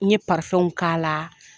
Ne ye k'a la